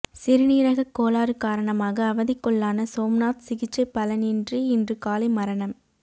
சிறுநீரகக் கோளாறு காரணமாக அவதிக்குள்ளான சோம்நாத் சிகிச்சை பலனின்றி இன்று காலை மரணம்